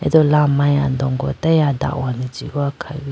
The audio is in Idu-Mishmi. tool amari andongo atage ada hone jihoyi khawuyi.